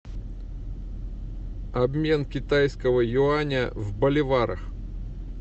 обмен китайского юаня в боливарах